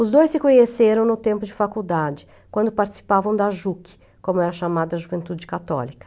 Os dois se conheceram no tempo de faculdade, quando participavam da Juc, como era chamada a juventude católica.